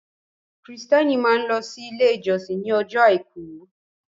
Kristiẹni máa ń lọ sí ilé ìjósìn ní ọjọ́ àìkú.